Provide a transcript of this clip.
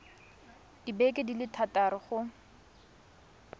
dibeke di le thataro go